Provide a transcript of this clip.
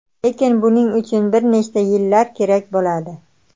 Lekin buning uchun bir necha yillar kerak bo‘ladi.